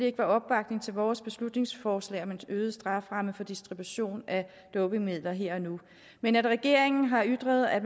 ikke var opbakning til vores beslutningsforslag om en øget straframme for distribution af dopingmidler her og nu men regeringen har ytret at